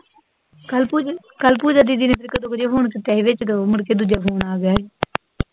ਕਲ ਪੂਜਾ, ਕਲ ਪੂਜਾ ਦੀਦੀ ਨੇ ਇਕ ਦੋ ਵਾਰੀ ਫੋਨ ਚੁਕਿਆ ਸੀ, ਵਿਚ ਮੁੜਕੇ ਦੂਜਾ ਫੋਨ ਆ ਗਿਆ ਸੀ